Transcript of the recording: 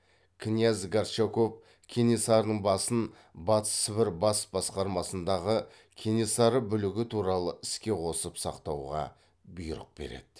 князь горчаков кенесарының басын батыс сібір бас басқармасындағы кенесары бүлігі туралы іске қосып сақтауға бұйрық береді